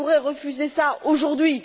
Qui pourrait refuser cela aujourd'hui?